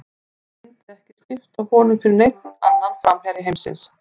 Ég myndi ekki skipta honum fyrir neinn annan framherja heimsins.